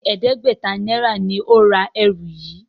Béèni ẹdẹgbẹta náírà ní o rà ẹrù yí.